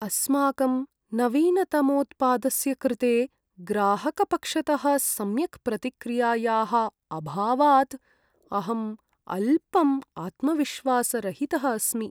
अस्माकं नवीनतमोत्पादस्य कृते ग्राहकपक्षतः सम्यक् प्रतिक्रियायाः अभावात् अहम् अल्पम् आत्मविश्वासरहितः अस्मि।